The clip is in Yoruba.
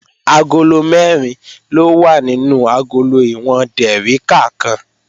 Agolo mẹ́rin ló wà nínú agolo ìwọ̀n dèríkà kan